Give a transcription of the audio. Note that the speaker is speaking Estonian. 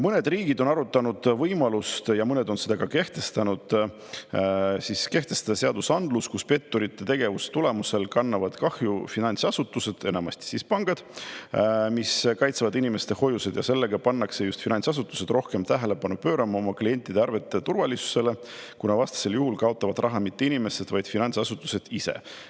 Mõned riigid on arutanud võimalust – mõned on seda ka – kehtestada seadusandlus, kus petturite tegevuse tulemusel kannavad kahju finantsasutused, enamasti pangad, mis kaitsevad inimeste hoiuseid, ja sellega pannakse just finantsasutused rohkem tähelepanu pöörama oma klientide arvete turvalisusele, kuna vastasel juhul kaotavad raha mitte inimesed, vaid finantsasutused ise.